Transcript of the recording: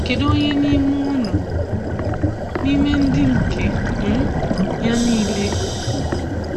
Kedu onye n'ime unu n'ime ndị nke um Ya nile?